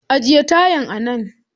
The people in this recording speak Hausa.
Ajiye tayan a nan